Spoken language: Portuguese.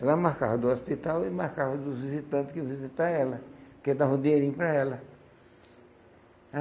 Ela marcava do hospital e marcava dos visitantes que iam visitar ela, que davam um dinheirinho para ela.